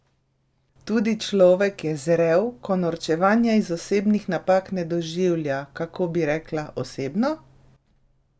Tudi človek je zrel, ko norčevanja iz osebnih napak ne doživlja, kako bi rekla, osebno?